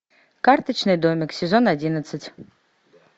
карточный домик сезон одиннадцать